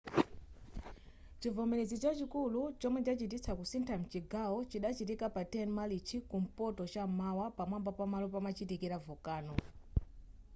chivomerezi chachikulu chomwe chachititsa kusintha mchigawo chidachitika pa 10 marichi kumpoto cham'mawa pamwamba pamalo pamachitika volcano